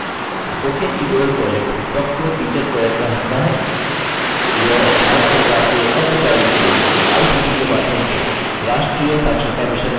spoken tutorial project talktoateacher project का हिस्सा है यह भारत सरकार के एमएचआरडी के आईसीटी के माध्यम से राष्ट्रीय साक्षरता mission द्वारा समर्थित है